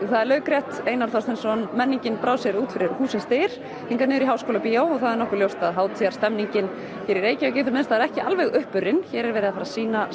það er laukrétt Einar Þorsteinsson menningin brá sér út fyrir hússins dyr hingað niður í Háskólabíó og það er nokkuð ljóst að hátíðarstemnignin hér í Reykjavík í það minnsta er ekki alveg uppurin hér er verið að fara að sýna